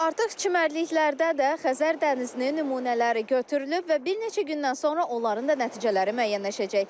Artıq çimərliklərdə də Xəzər dənizinin nümunələri götürülüb və bir neçə gündən sonra onların da nəticələri müəyyənləşəcək.